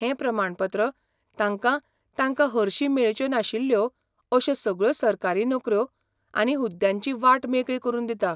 हें प्रमाणपत्र तांकां तांकां हरशी मेळच्यो नाशिल्ल्यो अश्यो सगळ्यो सरकारी नोकऱ्यो आनी हुद्द्यांची वाट मेकळी करून दिता.